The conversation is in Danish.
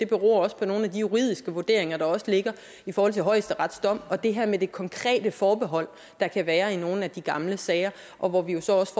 beror på nogle af de juridiske vurderinger der også ligger i forhold til højesterets dom og det her med de konkrete forbehold der kan være i nogle af de gamle sager og hvor vi jo så også